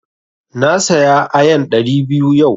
Na saya ayan ɗari biyu yau.